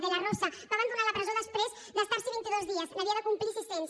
de la rosa va abandonar la presó després d’estar s’hi vint i dos dies n’havia de complir sis cents